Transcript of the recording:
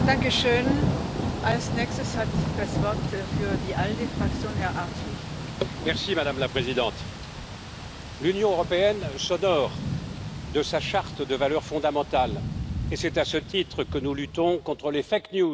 Madame la Présidente, l'Union européenne s'honore de sa charte de valeurs fondamentales et c'est à ce titre que nous luttons contre les informations fallacieuses, que nous protégeons les lanceurs d'alerte et que nous respectons les principes de l'état de droit.